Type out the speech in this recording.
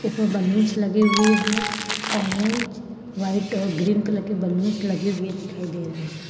ऊपर बलूंस लगे हुए है ऑरेंज वाइट और ग्रीन कलर के बलूंस लगे हुए दिखाई दे रहे हैं।